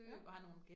Ja